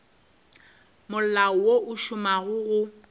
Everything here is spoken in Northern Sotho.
molao wo o šomago go